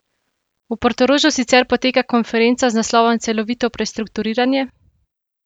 V Portorožu sicer poteka konferenca z naslovom Celovito prestrukturiranje?